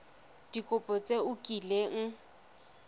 ka dikopo tse o kileng